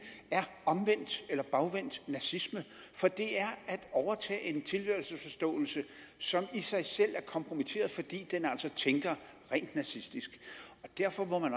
er omvendt eller bagvendt nazisme for det er at overtage en tilhørelsesforståelse som i sig selv er kompromitteret fordi den altså tænker rent nazistisk derfor må man